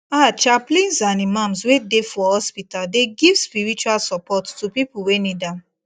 ah chaplains and imams wey dey for hospital dey give spiritual support to people wey need am